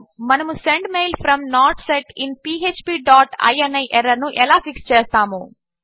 మనము sendmail from not set in PHP dot ini error ను ఎలా ఫిక్స్ చేస్తాము